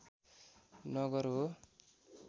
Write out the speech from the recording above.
नगर हो